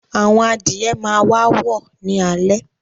Àwọn adìye máa wàá wọ̀ ní alẹ́